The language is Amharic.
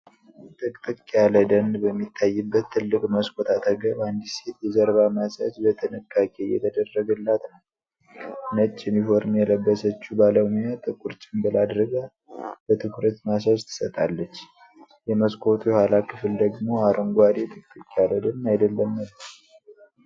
ጥቅጥቅ ያለ ደን በሚታይበት ትልቅ መስኮት አጠገብ አንዲት ሴት የጀርባ ማሳጅ በጥንቃቄ እየተደረገላት ነው። ነጭ ዩኒፎርም የለበሰችው ባለሙያ ጥቁር ጭንብል አድርጋ በትኩረት ማሳጅ ትሰጣለች። የመስኮቱ የኋላ ክፍል ደግሞ አረንጓዴ ጥቅጥቅ ያለ ደን አይደለምን?